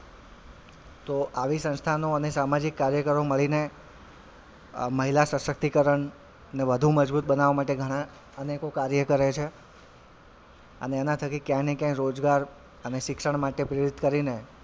તો આવી સંસ્થાનો અને સામાજિક કાર્યકારો મળીને અ મહિલાસશક્તિકરણ ને વધુ મજબુત બનાવા માટે ઘણાં અનેકો કાર્યો કરે છે અને એનાં થકી ક્યાય ને ક્યાય રોજગાર અને શિક્ષણ માટે પ્રેરિત કરીને,